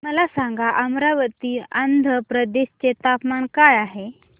मला सांगा अमरावती आंध्र प्रदेश चे तापमान काय आहे